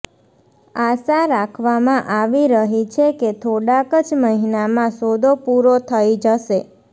આશા રાખવામાં આવી રહી છે કે થોડાક જ મહિનામાં સોદો પૂરો થઈ જશે